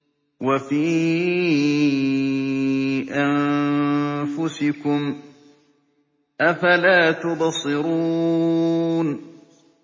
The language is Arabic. وَفِي أَنفُسِكُمْ ۚ أَفَلَا تُبْصِرُونَ